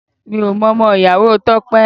Mi ò mọ ọmọ ìyàwó Tope